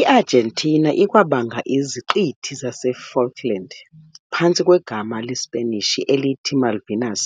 I-Argentina ikwabanga iZiqithi zaseFalkland, phantsi kwegama lesiSpanish elithi "Malvinas",